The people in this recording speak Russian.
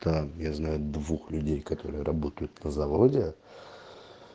так я знаю двух людей которые работают на заводе